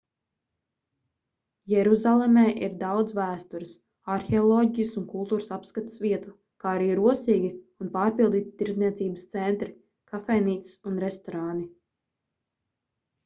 jeruzalemē ir daudz vēstures arheoloģijas un kultūras apskates vietu kā arī rosīgi un pārpildīti tirdzniecības centri kafejnīcas un restorāni